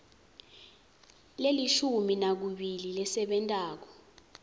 lelishumi nakubili lesebentako